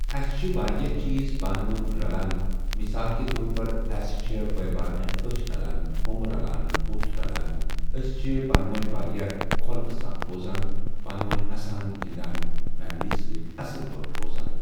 اَسہِ چھِ واریاہ چیٖز پانہٕ ؤنۍ رَلان مِثال کے طور پَر اَسہِ چھِ بٲےبارنٮ۪ن أچھ رَلان بُمہٕ رَلان بُتھ رَلان أسۍ چھِ پانہٕ ؤنۍ واریاہ خۄلقہٕ سان روزان پانہٕ ؤنۍ اَسان گِنٛدان فیملی سۭتۍ اَصٕل پٲٹھۍ روزان۔